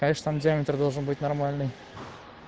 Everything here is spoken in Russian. конечно там диаметр должен быть нормальный